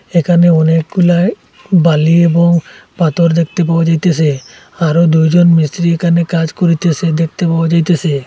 এখানে অনেকগুলা বালি এবং পাথর দেখতে পাওয়া যাইতেসে আরো দুইজন মিস্ত্রি এখানে কাজ করিতেসে দেখতে পাওয়া যাইতেছে।